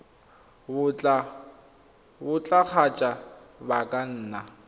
botlalo kgotsa ba ka nna